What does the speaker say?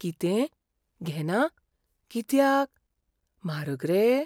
कितें, घेना? कित्याक? म्हारग रे?